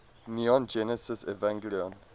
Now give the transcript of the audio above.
neon genesis evangelion